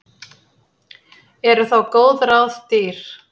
Eru þá góð ráð dýr.